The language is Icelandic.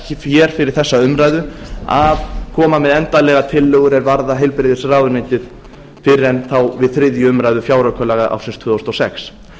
hér við þessa fyrir þessa umræðu að koma með endanlegar tillögur er varða heilbrigðisráðuneytið fyrr en þá við þriðju umræðu fjáraukalaga ársins tvö þúsund og sex